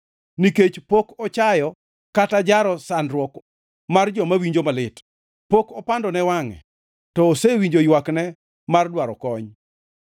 Nikech pok ochayo kata ojaro sandruok mar joma winjo malit; pok opandone wangʼe to osewinjo ywakne mar dwaro kony.